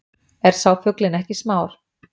Er sá fuglinn ekki smár,